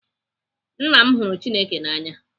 Nna m hụrụ Chineke n'anya.